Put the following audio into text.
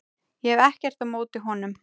Ég hef ekkert á móti honum.